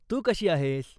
तू कशी आहेस?